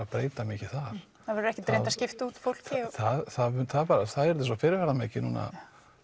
að breyta mikið þar það verður ekkert reynt að skipta út fólki það yrði svo fyrirferðamikið núna